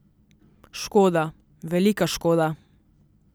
Škoda, velika škoda.